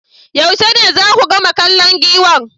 Yaushe ne zaku gama kallon Giwan?